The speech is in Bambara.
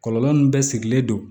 Kɔlɔlɔ nun bɛɛ sigilen don